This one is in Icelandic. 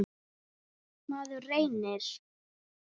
Maður reynir.